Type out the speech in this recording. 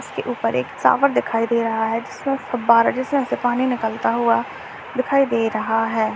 इसके ऊपर एक शावर दिखाई दे रहा है जिसमें फवारा जैसे यहां से पानी निकलता हुआ दिखाई दे रहा है।